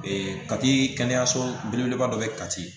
kati kɛnɛyaso belebeleba dɔ bɛ ye kati